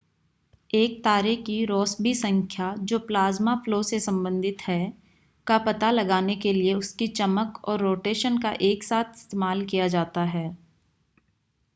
एक तारे की रॉस्बी संख्या जो प्लाज़्मा फ़्लो से संबंधित है का पता लगाने के लिए उसकी चमक और रोटेशन का एक साथ इस्तेमाल किया जाता है